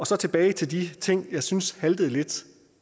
så tilbage til de ting jeg synes haltede lidt